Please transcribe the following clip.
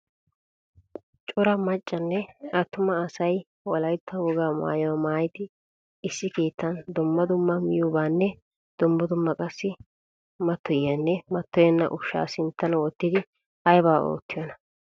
Cora maccanne atuma asay wolaytta wogaa maayuwaa maayidi issi keettan dumma dumma miyobanne dumma qassi matoyiyanne matoyenna ushsha sinttan wottidi ayba oottiyona?